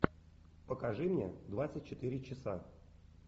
покажи мне двадцать четыре часа